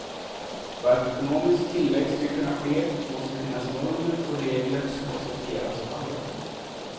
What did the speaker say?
För att ekonomisk tillväxt ska kunna ske måste det finnas normer och regler som accepteras av alla.